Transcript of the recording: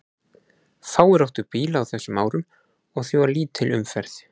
Fáir áttu bíla á þessum árum og því var lítil umferð.